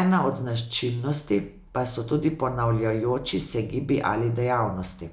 ena od značilnosti pa so tudi ponavljajoči se gibi ali dejavnosti.